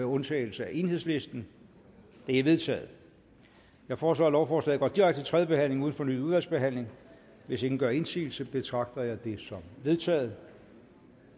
undtagelse af enhedslisten det er vedtaget jeg foreslår at lovforslaget går direkte til tredje behandling uden fornyet udvalgsbehandling hvis ingen gør indsigelse betragter jeg det som vedtaget